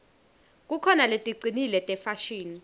kukhona leticinile tefashini